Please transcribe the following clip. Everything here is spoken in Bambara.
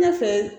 Ɲɛfɛ